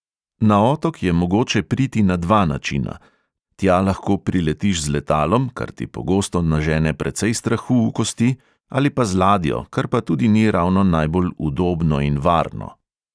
Na otok je mogoče priti na dva načina – tja lahko priletiš z letalom, kar ti pogosto nažene precej strahu v kosti, ali pa z ladjo, kar pa tudi ni ravno najbolj udobno in varno.